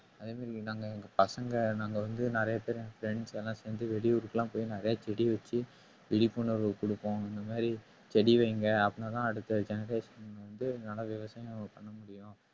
அதே மாதிரி நாங்க எங்க பசங்க நாங்க வந்து நிறைய பேரு எங்க friends எல்லாம் சேர்ந்து வெளியூருக்கு எல்லாம் போய் நிறைய செடி வச்சு விழிப்புணர்வு கொடுப்போம் இந்த மாதிரி செடி வையுங்க அப்பனாதான் அடுத்த generation வந்து நல்லா விவசாயம்